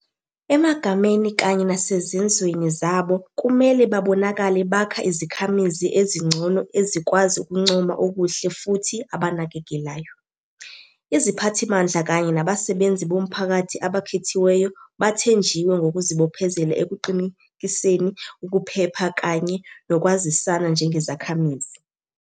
Emagameni kanye nesezenzweni zabo, kumele babonakale bakha izikhamizi ezingcono ezikwazi ukuncoma okuhle futhi abanakekelayo. Iziphathimandla kanye nabasebenzi bomphakathi abakhethiweyo bathenjiwe ngokuzibophezela ekuqinekiseni ukuphepha kanye nokwazisana njengezakhamizi.